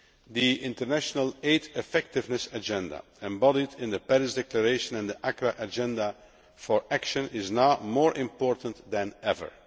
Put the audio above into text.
The international aid effectiveness agenda embodied in the Paris Declaration and the Accra Agenda for Action is now more important than ever.